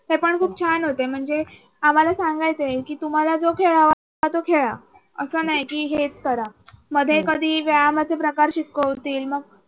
ते पण खूप छान होते म्हणजे आम्हाला सांगायचे की तुम्हाला जो खेळ हवाय तो खेळा असं नाही की हेच करा. मध्ये कधी व्यायामाचे प्रकार शिकवतील.